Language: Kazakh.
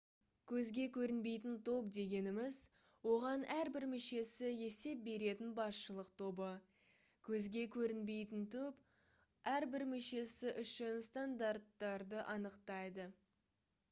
«көзге көрінбейтін топ» дегеніміз оған әрбір мүшесі есеп беретін басшылық тобы. көзге көрінбейтінтоп әрбір мүшесі үшін стандарттарды анықтайды